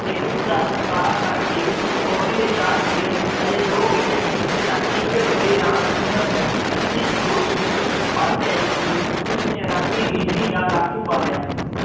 ਤੇ ਉਸਦਾ ਮੂੰਹ ਕਾਲਾ ਕਰਕੇ ਉਸਨੂੰ ਖੋਤੀ ਤੇ ਚਾੜ੍ਹ ਕੇ ਹਜੇ ਦੋ ਗੇੜੇ ਹੀ ਦਿੱਤੇ ਸਨ ਕਿ ਇੱਕ ਟੋਲੀ ਰਾਮ ਸੁੰਦਰ ਨੂੰ ਇਸ ਦੋਸ਼ ਵਿੱਚ ਫੜ ਲਿਆਈ ਕਿ ਉਸਨੇ ਰਾਤੀ ਬਿਜ਼ਲੀ ਦਾ ਲਾਟੂ ਬਾਲਿਆ ਸੀ।